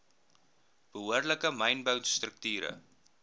behoorlike mynbou strukture